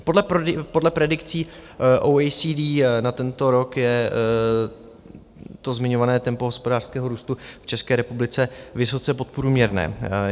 Podle predikcí OECD na tento rok je to zmiňované tempo hospodářského růstu v České republice vysoce podprůměrné.